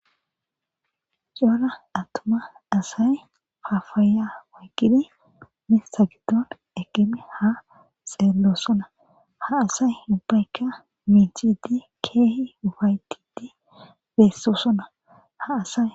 Cora attuma asay papaya oykidi miththa garssenika eqqidiha xeelishe doosona ha asay keehipe miccidinne ufa7etidi de7izayssa qonccisees.